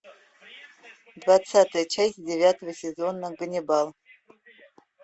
двадцатая часть девятого сезона ганнибал